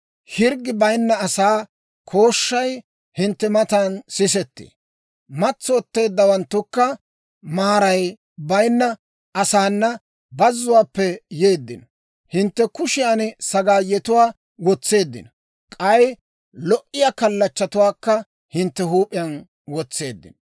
Hirggi bayinna asaa kooshshay hintte matan sisettee; matsotteeddawanttukka maaray bayinna asaana bazzuwaappe yeeddino. Hintte kushiyan sagaayetuwaa wotseeddino; k'ay lo"iyaa kallachchatuwaakka hintte huup'iyaan wotseeddino.